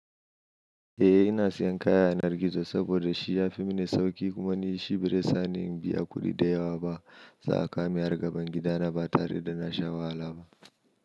Eh ina siyan kaya na gizo saboda shi ya fi mini sauƙi kuma nishi bare sani in biya kuɗi da yawa ba. Za a kawo min har gaban gida na ba tare da na sha wahala ba.